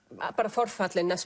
forfallin